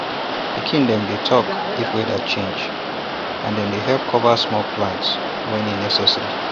pikin dem dey talk if weather change and dem dey help cover small plants wen e necessary